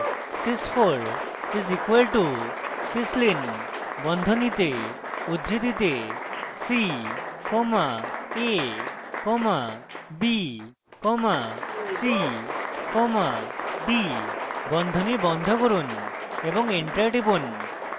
sys 4 is equal to syslin বন্ধনীতে উদ্ধৃতিতে c comma a comma b comma c comma d বন্ধনী বন্ধ করুন এবং enter টিপুন